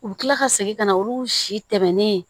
U bi kila ka segin ka na olu si tɛmɛnen